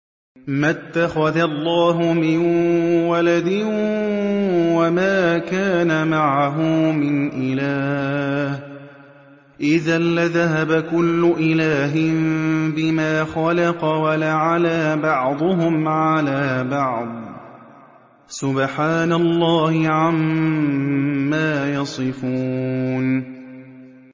مَا اتَّخَذَ اللَّهُ مِن وَلَدٍ وَمَا كَانَ مَعَهُ مِنْ إِلَٰهٍ ۚ إِذًا لَّذَهَبَ كُلُّ إِلَٰهٍ بِمَا خَلَقَ وَلَعَلَا بَعْضُهُمْ عَلَىٰ بَعْضٍ ۚ سُبْحَانَ اللَّهِ عَمَّا يَصِفُونَ